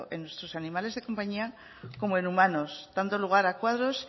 en sus animales de compañía como en humanos dando lugar a cuadros